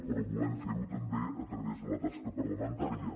però volem ferho també a través de la tasca parlamentària